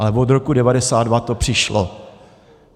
Ale od roku 1992 to přišlo.